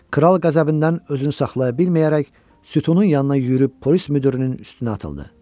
Kral qəzəbindən özünü saxlaya bilməyərək sütunun yanına yüyürüb polis müdirinin üstünə atıldı.